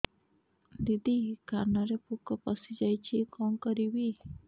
ଦିଦି କାନରେ ପୋକ ପଶିଯାଇଛି କଣ କରିଵି